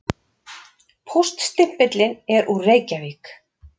Póststimpillinn er úr Reykjavík.